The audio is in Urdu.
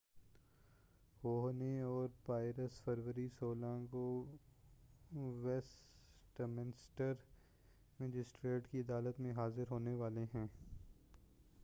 ہوہنے اور پائرس فروری 16 کو ویسٹمنسٹر مجسٹریٹ کی عدالت میں حاضر ہونے والے ہیں